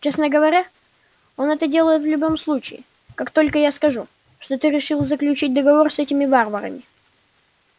честно говоря он это делает в любом случае как только я скажу что ты решил заключить договор с этими варварами